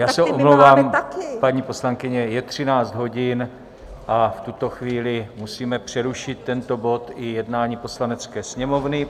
Já se omlouvám, paní poslankyně, je 13 hodin a v tuto chvíli musíme přerušit tento bod i jednání Poslanecké sněmovny.